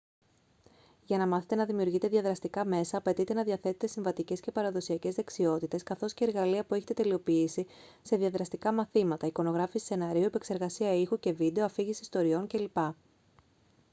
για να μάθετε να δημιουργείτε διαδραστικά μέσα απαιτείται να διαθέτετε συμβατικές και παραδοσιακές δεξιότητες καθώς και εργαλεία που έχετε τελειοποιήσει σε διαδραστικά μαθήματα εικονογράφηση σεναρίου επεξεργασία ήχου και βίντεο αφήγηση ιστοριών κ.λπ.